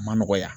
A ma nɔgɔ ya